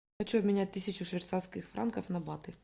хочу обменять тысячу швейцарских франков на баты